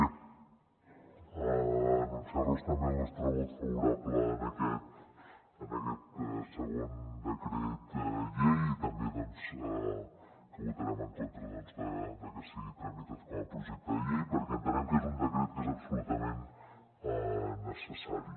bé anunciar los també el nostre vot favorable a aquest segon decret llei i també doncs que votarem en contra de que sigui tramitat com a projecte de llei perquè entenem que és un decret que és absolutament necessari